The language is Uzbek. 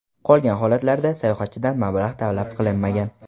Qolgan holatlarda sayohatchidan mablag‘ talab qilinmagan.